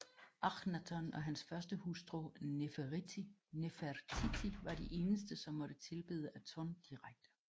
Akhnaton og hans førstehustru Nefertiti var de eneste som måtte tilbede Aton direkte